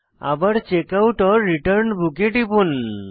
আবার checkout return book এ টিপুন